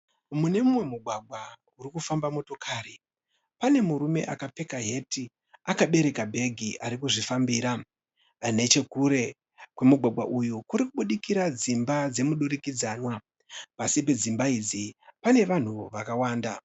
Mune mumwe mugwagwa muri kufamba motokari pane murume akapfeka hati akabereka bhegi ari kuzvifambira . Nechekure kwemugwagwa uyu kurikubudikira dzimba dzemudurikidzanwa . Pasi pedzimba idzi pane vanhu vakawanda .